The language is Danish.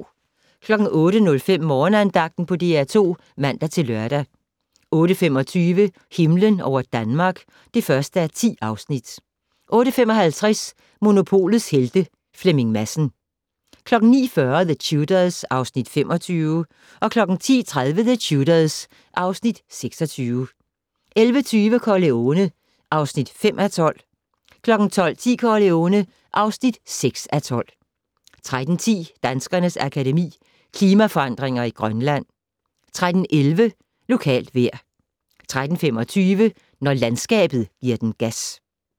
08:05: Morgenandagten på DR2 (man-lør) 08:25: Himlen over Danmark (1:10) 08:55: Monopolets Helte - Flemming Madsen 09:40: The Tudors (Afs. 25) 10:30: The Tudors (Afs. 26) 11:20: Corleone (5:12) 12:10: Corleone (6:12) 13:10: Danskernes Akademi: Klimaforandringer i Grønland 13:11: Lokalt vejr 13:25: Når landskabet gi'r den gas